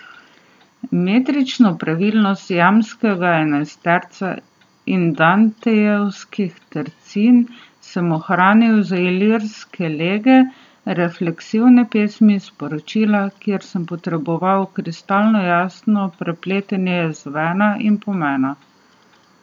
Metrično pravilnost jambskega enajsterca in dantejevskih tercin sem ohranil za lirske lege, refleksivne pesmi, sporočila, kjer sem potreboval kristalno jasno prepletanje zvena in pomena.